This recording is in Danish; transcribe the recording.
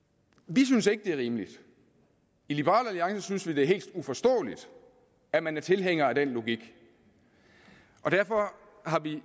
vi synes ikke det er rimeligt i liberal alliance synes vi at det er helt uforståeligt at man er tilhænger af den logik derfor har vi